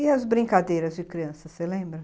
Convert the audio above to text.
E as brincadeiras de criança, você lembra?